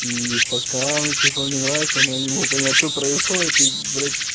и пока она типа мне нравится но я не могу понять что происходит и блять